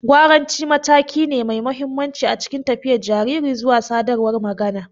Gwaranci mataki ne mai mahimmanci a cikin tafiyar jariri zuwa sadarwar magana.